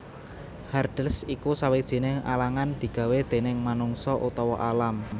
Hurdles iku sawijining alangan digawé déning manungsa utawa alam